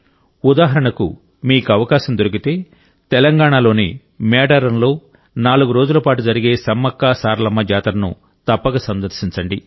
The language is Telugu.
ఉదాహరణకు మీకు అవకాశం దొరికితే తెలంగాణలోని మేడారంలో నాలుగు రోజులపాటు జరిగే సమ్మక్కసారలమ్మ జాతరను తప్పక సందర్శించండి